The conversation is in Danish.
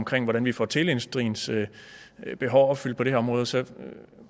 af hvordan vi får teleindustriens behov opfyldt på det her område og så